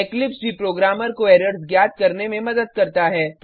Eclipse भी programmer को errors ज्ञात करने में मदद करता है